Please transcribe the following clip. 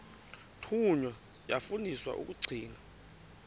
thunywa yafundiswa ukugcina